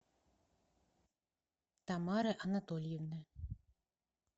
тамары анатольевны